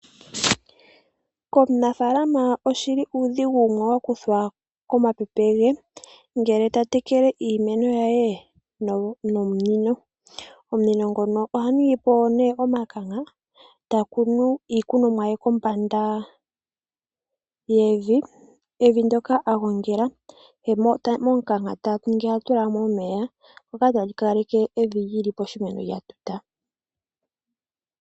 Komunafalama oshi li uudhigu wumwe wa kuthwa komapepe ge ngele ta tekele iimeno ye nomunino. Omunino ngono oha ningi po omikanka, e ta kunu iikunomwa ye kombanda yiimpungu mbyoka a ninga. Momukanka ta kala ha tula mo omeya shoka tashi kaleke evi li li piimeno lya tuta.